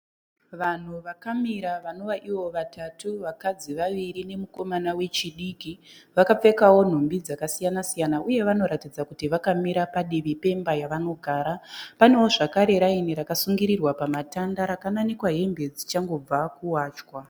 Vanhu vakamira vanova ivo vatatu, vakadzi vaviri nemukomana wechidiki vakapfekawo nhumbi dzakasiyana siyana, uye vanoratidza kuti vakamira padivi pemba yavanogara. Panewo zvakare raini rakasungirirwa pamatanda rakananikwa hembe dzichangobva kuwachwa.